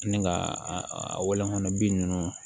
Ni ka a wɔlɔn bi nunnu